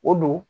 O don